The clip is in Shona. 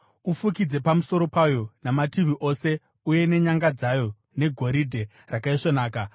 Ufukidze pamusoro payo namativi ose uye nenyanga dzayo negoridhe rakaisvonaka,